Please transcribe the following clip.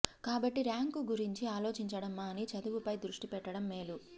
కాబట్టి ర్యాంకు గురించి ఆలోచించడం మాని చదువుపై దృష్టి పెట్టడం మేలు